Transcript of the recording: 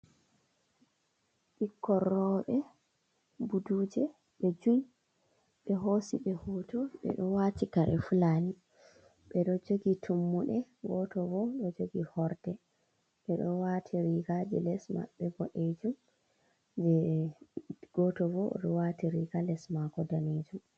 Bikkon robe buɗuje be jui. Be hosi be hoto. Be ɗo wati kare fulani. Be ɗo jogi tummuɗe. Goto bo ɗo jogi horɗe. Be ɗo wati riga je les mabbe boɗejum. goto bo ɗo wati riga les mako ɗanejum.